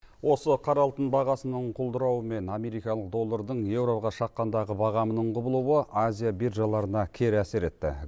осы қара алтын бағасының құлдырауы мен америкалық доллардың еуроға шаққандағы бағамының құбылуы азия биржаларына кері әсер етті